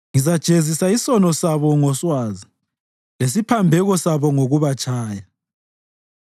ngizajezisa isono sabo ngoswazi, lesiphambeko sabo ngokubatshaya;